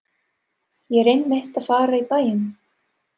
Ég er einmitt að fara í bæinn.